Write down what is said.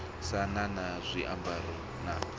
si na na tshiambaro na